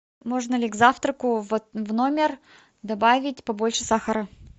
можно ли к завтраку в номер добавить побольше сахара